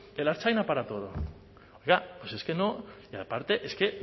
el ertzaina para todo es que no aparte es que